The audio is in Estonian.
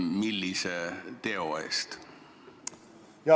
Millise teo eest?